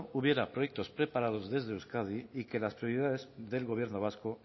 hubiera proyectos preparados desde euskadi y que las prioridades del gobierno vasco